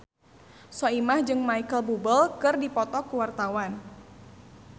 Soimah jeung Micheal Bubble keur dipoto ku wartawan